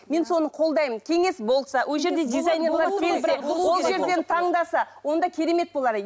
мен соны қолдаймын кеңес болса ол жерде ол жерден таңдаса онда керемет болар